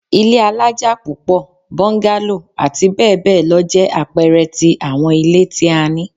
Ilé alaja pupo, bungalow ati bẹbẹ lọ jẹ apẹẹrẹ ti awọn ile ti a ni